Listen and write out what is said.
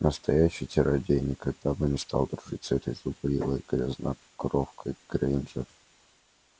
настоящий чародей никогда бы не стал дружить с этой зубрилой грязнокровкой грэйнджер